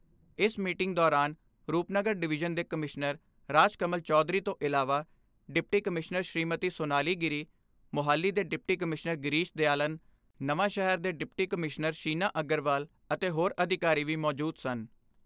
ਇਸ ਮੀਟਿੰਗ ਦੌਰਾਨ ਰੁਪਨਗਰ ਡਵੀਜ਼ਨ ਦੇ ਕਮਿਸ਼ਨਰ ਰਾਜ ਕਮਲ ਚੌਧਰੀ ਤੋਂ ਇਲਾਵਾ, ਡਿਪਟੀ ਕਮਿਸ਼ਨਰ ਸੁੀਮਤੀ ਸੋਨਾਲੀ ਗਿਰੀ, ਮੁਹਾਲੀ ਦੇ deputy commissioner Girish Dayalan Nawanshahr ਦੇ ਡਿਪਟੀ ਕਮਿਸ਼ਨਰ ਸ਼ੀਨਾ ਅਗਰਵਾਲ ਅਤੇ ਹੋਰ ਅਧਿਕਾਰੀ ਵੀ ਮੌਜੂਦ ਸਨ।